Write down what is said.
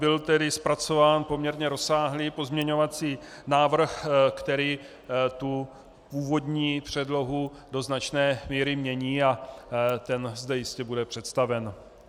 Byl tedy zpracován poměrně rozsáhlý pozměňovací návrh, který tu původní předlohu do značné míry mění, a ten zde jistě bude představen.